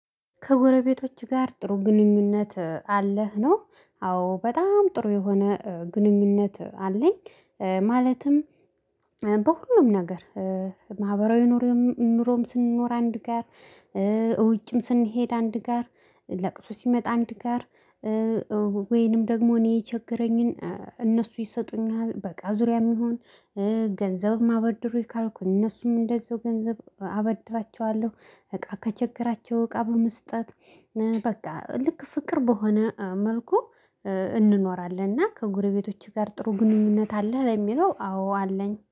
ከጎረቤቶችህ ጋር ጥሩ ግንኙነት አለህ ነው? አዎ በጣም ጥሩ የሆነ ግንኙነት አለኝ። ማለትም በሁሉም ነገር ማህበራዊ ኑሮም ስንኖር አንድ ጋር። ውጭም ስንሄድ አንድ ጋር ለቅሶ ሲመጣ አንድ ጋር። ወይንም ደግሞ እኔ የቸገረኝን እነሱ ይሰጡኛል በቃ ዙሪያም ይሁን ገንዘብም አበድሩኝ ካልኩኝ እነሱም እንደዛው ገንዘብ አበድራቸዋለሁ። እቃ ከቸገራቸው እቃ በመስጠት በቃ ልክ ፍቅር በሆነ መልኩ እንኖራለን። እና ከጎረቤቶችህ ጋር ጥሩ ግንኙነት አለህ? ለሚለው አዎ አለኝ